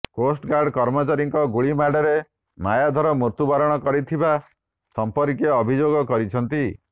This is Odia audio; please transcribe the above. କୋଷ୍ଟଗାର୍ଡ କର୍ମଚାରୀଙ୍କ ଗୁଳି ମାଡ଼ରେ ମାୟାଧର ମୃତ୍ୟୁ ବରଣ କରିଥିବା ସମ୍ପର୍କୀୟ ଅଭିଯୋଗ କରିଛନ୍ତି